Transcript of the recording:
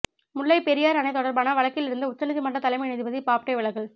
முல்லை பெரியாறு அணை தொடர்பான வழக்கிலிருந்து உச்சநீதிமன்ற தலைமை நீதிபதி பாப்டே விலகல்